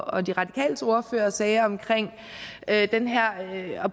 og de radikales ordfører sagde om at